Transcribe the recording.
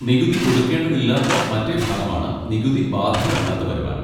നികുതി കൊടുക്കേണ്ടതില്ലാത്ത മറ്റേ ഭാഗമാണ് നികുതി ബാധകമല്ലാത്ത വരുമാനം.